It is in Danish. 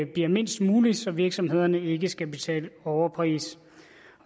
bliver mindst mulig så virksomhederne ikke skal betale en overpris